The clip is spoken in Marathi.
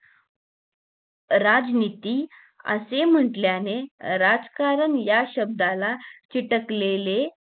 राजनीती असे म्हंटल्याने राजकारण या शब्दाला चिटकलेले